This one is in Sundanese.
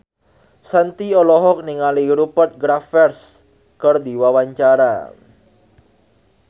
Shanti olohok ningali Rupert Graves keur diwawancara